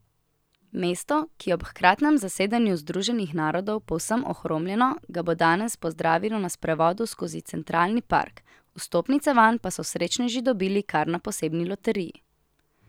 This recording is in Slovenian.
Mesto, ki je ob hkratnem zasedanju Združenih narodov povsem ohromljeno, ga bo danes pozdravilo na sprevodu skozi Centralni park, vstopnice vanj pa so srečneži dobili kar na posebni loteriji.